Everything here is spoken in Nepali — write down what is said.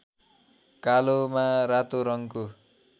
कालोमा रातो रङको